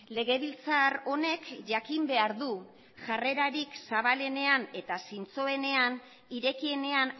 legebiltzar honek jakin behar du jarrerarik zabalenean eta zintzoenean irekienean